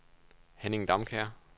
Henning Damkjær